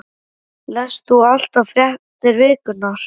Lest þú allar fréttir vikunnar?